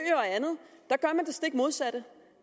stik modsatte